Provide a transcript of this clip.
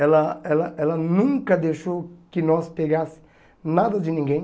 Ela ela ela nunca deixou que nós pegasse nada de ninguém.